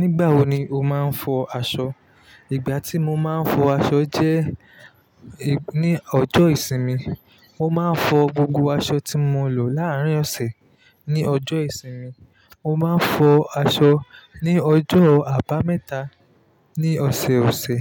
Nígbà wo ni o máa ń fọ aṣọ? Ìgbà tí mo máa ń fọ aṣọ jẹ́ ní ọjọ́ ìsinmi. Mo máa ń fọ gbogbo aṣọ tí mo lò láàárín ọ̀sẹ̀. Ni ọjọ́ ìsinmi, mo máa ń fọ aṣọ. Ni ọjọ́ àbámẹ́ta ní ọ̀sẹ̀ọ̀sẹ̀,